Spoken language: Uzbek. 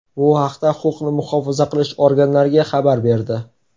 bu haqda huquqni muhofaza qilish organlariga xabar berdi.